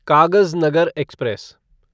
Kagaznagar express